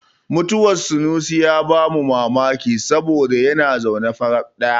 Mutuwar sunusi ya ba mu mamaki saboda ya zo ne faraf ɗaya.